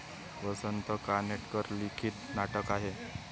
वसंत कानेटकर लिखित नाटक आहे.